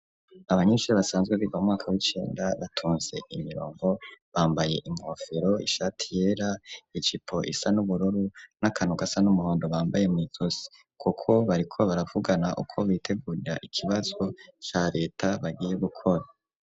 Abanyinshure basanzwe biga mwaka w'icenda batunze imirongo bambaye inkofero ishati yera icipo isa n'ubururu n'akanu gasa n'umuhondo bambaye mu ijosi, kuko bariko baravugana uko bitegurira ikibazo ca reta bagiye gukora.